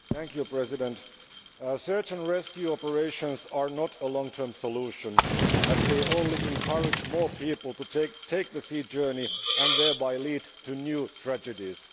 Madam President, search and rescue operations are not a long term solution, as they only encourage more people to take the sea journey and thereby lead to new tragedies.